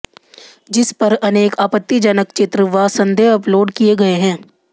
जिस पर अनेक आपत्तीजनक चित्र व संदेश अपलोड किए गए हैं